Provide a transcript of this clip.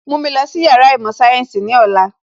Mú mi lọ sí Yàrá īmò sayensi ní ọ̀la